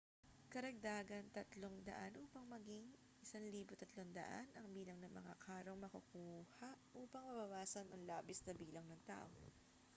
karagdagang 300 upang maging 1,300 ang bilang ng mga karong makukuha upang mabawasan ang labis na bilang ng tao